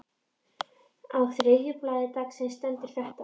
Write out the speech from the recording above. Á þriðja blaði dagsins stendur þetta